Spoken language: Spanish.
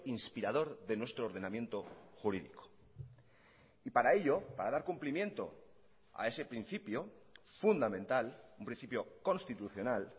inspirador de nuestro ordenamiento jurídico y para ello para dar cumplimiento a ese principio fundamental un principio constitucional